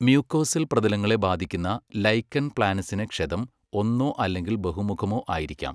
Mucosal പ്രതലങ്ങളെ ബാധിക്കുന്ന lichen പ്ലാനസിന് ക്ഷതം ഒന്നോ അല്ലെങ്കിൽ ബഹുമുഖമോ ആയിരിക്കാം.